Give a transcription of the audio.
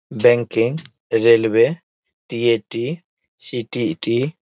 Banking railway TAT. CTET. --